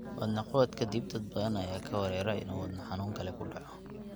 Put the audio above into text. Wadne qabad ka dib, dad badan ayaa ka werwera in uu wadno xanuun kale ku dhaco.